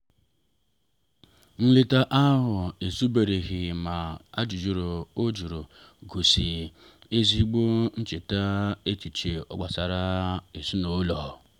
nleta ahụ ezubereghị ma ajụjụ o jụrụ gosi ezigbo nchebara echiche gbasara ezinụlọ.